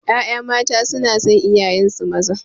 Ƴaƴa mata sunason iyayensu maza